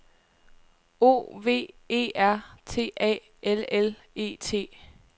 O V E R T A L L E T